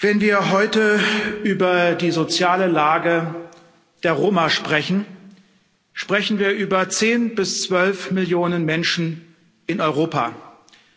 Wenn wir heute über die soziale Lage der Roma sprechen, sprechen wir über zehn bis zwölf Millionen Menschen in Europa, dann